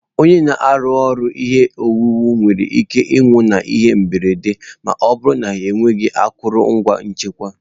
Onye na-arụ ọrụ ihe owuwu nwere ike ịnwụ n'ihe mberede ma ọ bụrụ na ha enweghị akụrụngwa nchekwa.